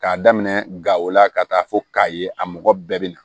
K'a daminɛ gawola ka taa fo k'a ye a mɔgɔ bɛɛ bi na